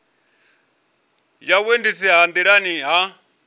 ya vhuendisi ha nḓilani ha